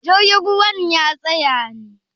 jirgin ruwan ya tsaya ne?